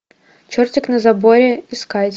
чертик на заборе искать